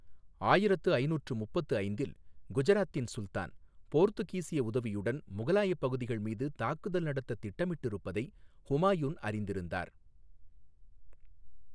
ஆயிரத்து ஐநூற்று முப்பத்து ஐந்தில், குஜராத்தின் சுல்தான் போர்த்துகீசிய உதவியுடன் முகலாயப் பகுதிகள் மீது தாக்குதல் நடத்த திட்டமிட்டிருப்பதை ஹுமாயூன் அறிந்திருந்தார்.